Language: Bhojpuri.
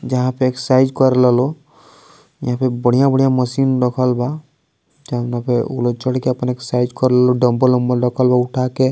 जहां पे एक्सरसाइज कर ला लोग यहां पे बढ़िया बढ़िया मशीन रखल बा जोना के उ लोग चढ़ के अपना एक्सरसाइज कर ला लोग डम्बल ऊमबल रखल बा उठा के |